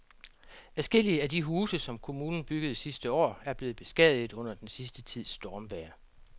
Adskillige af de huse, som kommunen byggede sidste år, er blevet beskadiget under den sidste tids stormvejr.